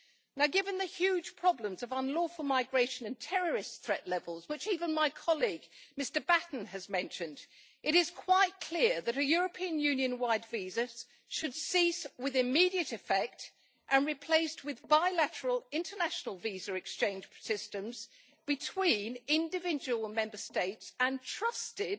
Now given the huge problems of unlawful migration and terrorist threat levels, which even my colleague Mr Batten has mentioned, it is quite clear that a European Union wide visa should cease with immediate effect and be replaced with bilateral, international visa exchange systems between individual Member States and trusted,